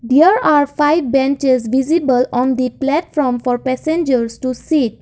there are five benches visible on the platform for passengers to sit.